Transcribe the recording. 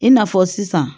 I n'a fɔ sisan